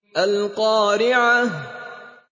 الْقَارِعَةُ